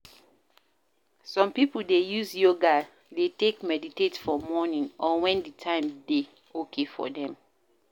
some pipo dey use Yoga dey take meditate for morning or when di time dey okay for them